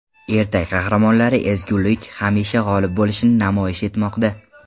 Ertak qahramonlari ezgulik hamisha g‘olib bo‘lishini namoyish etmoqda.